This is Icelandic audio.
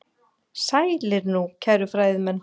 Sælir nú, kæru fræðimenn.